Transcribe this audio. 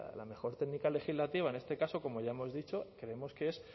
la mejor técnica legislativa en este caso como ya hemos dicho creemos que es